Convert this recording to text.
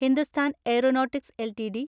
Hindustan Aeronautics LTD